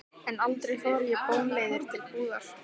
En aldrei fór ég bónleiður til búðar.